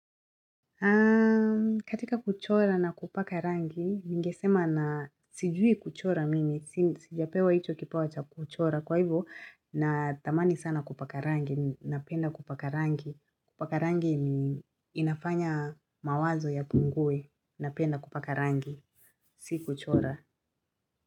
Katika kuchora na kupaka rangi, mi ningesema sijui kuchora mimi, sijapewa hicho kipawa cha kuchora, kwa hivyo nathamani sana kupaka rangi, napenda kupaka rangi inafanya mawazo yapungwe, napenda kupaka rangi, si kuchora.